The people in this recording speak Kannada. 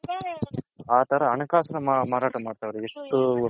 ಆ ತರ ಹಣ ಕಾಸು ಮಾರಾಟ ಮಾಡ್ತಾವ್ರೆ ಎಷ್ಟು